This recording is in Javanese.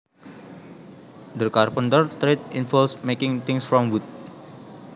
The carpenters trade involves making things from wood